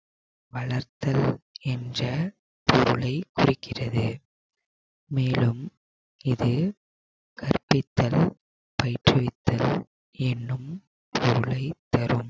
வளர்த்தல் வளர்த்தல் என்ற பொருளை குறிக்கிறது மேலும் இது கற்பித்தல் பயிற்றுவித்தல் என்னும் பொருளைத் தரும்